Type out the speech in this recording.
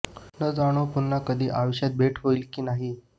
न जाणो पुन्हा कधी आयुष्यात भेट होईल कि नाही